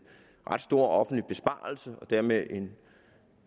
ret stor offentlig besparelse og dermed en